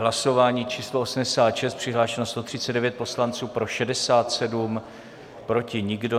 Hlasování číslo 86, přihlášeno 139 poslanců, pro 67, proti nikdo.